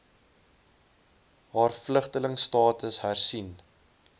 haar vlugtelingstatus hersien